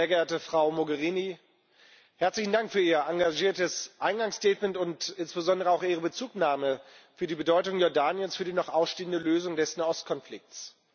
Sehr geehrte Frau Mogherini, herzlichen Dank für Ihr engagiertes Eingangsstatement und insbesondere auch Ihre Bezugnahme auf die Bedeutung Jordaniens für die noch ausstehende Lösung des Nahostkonflikts.